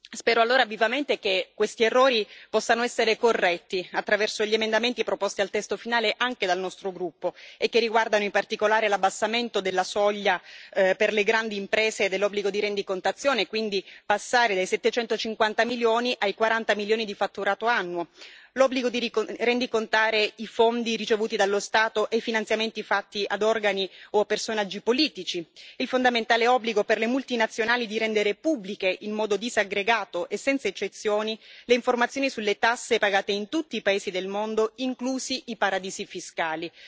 Spero allora vivamente che questi errori possano essere corretti attraverso gli emendamenti proposti al testo finale anche dal nostro gruppo, e che riguardano in particolare l'abbassamento della soglia per le grandi imprese dell'obbligo di rendicontazione l'obbligo di rendicontare i fondi ricevuti dallo Stato e i finanziamenti fatti ad organi o a personaggi politici, il fondamentale obbligo per le multinazionali di rendere pubbliche, in modo disaggregato e senza eccezioni, le informazioni sulle tasse pagate in tutti i paesi del mondo, inclusi i paradisi fiscali.